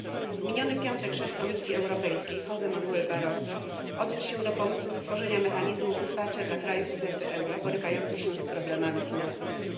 W miniony piątek szef Komisji Europejskiej Jose Manuel Barroso odniósł się do pomysłu stworzenia mechanizmu wsparcia dla krajów strefy euro borykających się z problemami finansowymi.